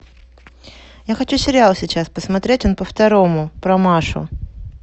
я хочу сериал сейчас посмотреть он по второму про машу